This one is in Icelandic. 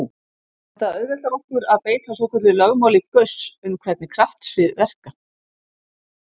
Þetta auðveldar okkur að beita svokölluðu lögmáli Gauss um hvernig kraftsvið verka.